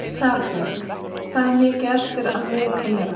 Salbjörg, hvað er mikið eftir af niðurteljaranum?